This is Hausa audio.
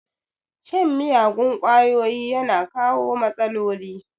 Shan miyagun kwayoyi yana kawo matsaloli